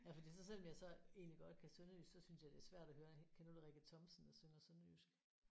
Ja fordi så selvom jeg så egentlig godt kan sønderjysk så synes jeg det er svært at høre kender du Rikke Thomsen der synger sønderjysk?